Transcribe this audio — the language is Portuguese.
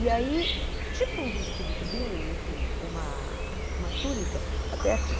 E aí, tipo um vestido tubinho, enfim, uma uma túnica até aqui.